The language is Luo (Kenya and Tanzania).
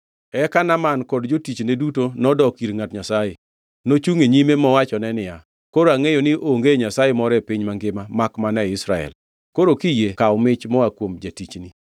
Eka Naaman kod jotichne duto nodok ir ngʼat Nyasaye. Nochungʼ e nyime mowachone niya, Koro angʼeyo ni onge Nyasaye moro e piny mangima makmana e Israel. Koro kiyie kaw mich moa kuom jatichni.